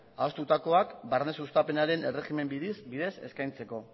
adostutakoak barne sustapenaren erregimenaren bidez eskaintzeko